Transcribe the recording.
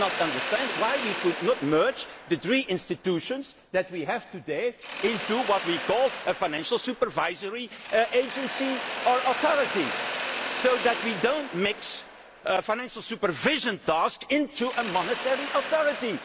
the other. I cannot understand why we cannot merge the three institutions that we have today into what we call a financial supervisory agency or authority, so that we do not mix a financial supervision task with a monetary